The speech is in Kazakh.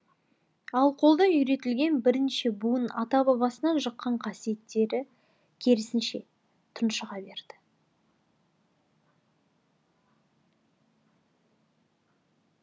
ал қолда үйретілген бірнеше буын ата бабасынан жұққан қасиеттері керісінше тұншыға берді